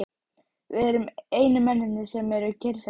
Við erum einu mennirnir, sem hér eru kyrrsettir.